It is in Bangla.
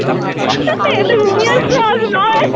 এটা নয়